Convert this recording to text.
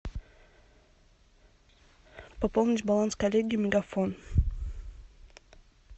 пополнить баланс коллеги мегафон